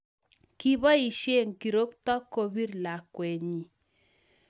Kiboisie kirokto kopir lakwenyi